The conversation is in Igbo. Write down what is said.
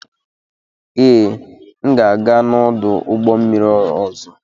Ee, m ga-aga n'ọdụ ụgbọ mmiri ọzọ.